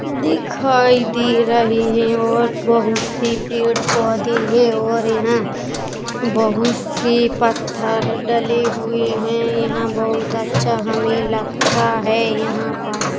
दिखाई दे रहें है और बहुत से पेड़ पौधे हैऔर यहाँ बहुत से पत्थर डलें हुए हैयहाँ बहुत अच्छा हमें लगता हैयहाँ पर।